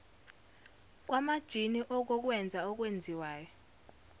kwamajini okokwenza okwenziwayo